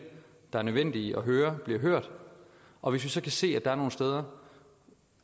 der er nødvendige at høre bliver hørt og hvis vi så kan se at der er nogle steder